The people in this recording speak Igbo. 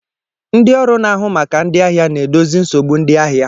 Ndi ọrụ na-ahụ maka ndi ahịa na-edozi nsogbu ndi ahịa.